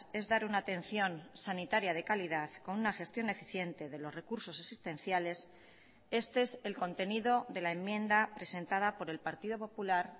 es dar una atención sanitaria de calidad con una gestión eficiente de los recursos existenciales este es el contenido de la enmienda presentada por el partido popular